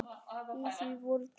Í því voru tvö hús.